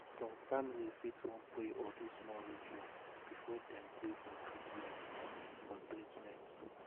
some family fit wan pray or do small ritual before dem gree for treatment. for treatment.